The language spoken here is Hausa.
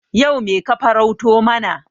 Yau me ka farauto mana?